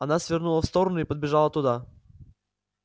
она свернула в сторону и подбежала туда